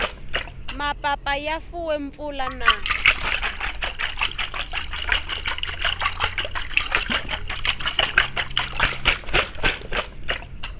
mapapa ya fuwe mpfula na